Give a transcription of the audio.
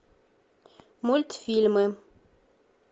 мультфильмы